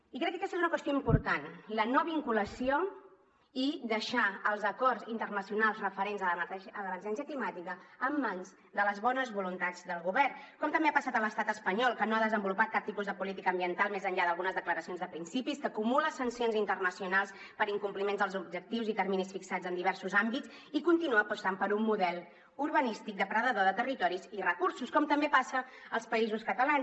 i crec que aquesta és una qüestió important la no vinculació i deixar els acords internacionals referents a l’emergència climàtica en mans de les bones voluntats del govern com també ha passat a l’estat espanyol que no ha desenvolupat cap tipus de política ambiental més enllà d’algunes declaracions de principis que acumula sancions internacionals per incompliments dels objectius i terminis fixats en diversos àmbits i continua apostant per un model urbanístic depredador de territoris i recursos com també passa als països catalans